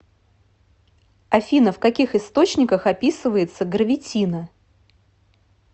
афина в каких источниках описывается гравитино